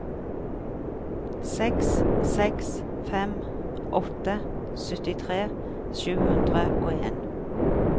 seks seks fem åtte syttitre sju hundre og en